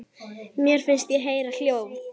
Mér fannst ég heyra hljóð.